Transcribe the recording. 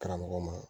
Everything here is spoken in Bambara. Karamɔgɔ ma